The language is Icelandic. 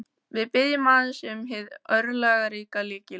Við biðjum aðeins um hið örlagaríka lykilorð.